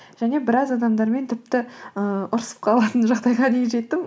және біраз адамдармен тіпті ыыы ұрысып қалатын жағдайға дейін жеттім